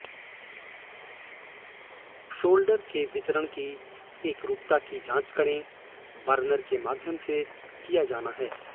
solder के वितरण की एकरूपता की जाँच करें बर्नर के माध्यम से किया जाना है